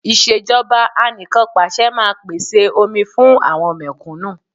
Ìṣèjọba Anìkanpàṣẹ máa pèsè omi fún àwọn mẹ̀kúnnù